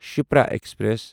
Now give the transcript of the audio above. Shipra express